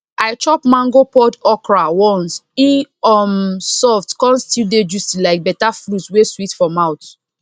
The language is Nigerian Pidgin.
i chop mango pod okra once e um soft come still dey juicy like beta fruit wey sweet for mouth